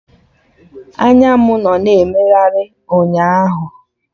Anya mụ nọ na emegharị ụnyaahụ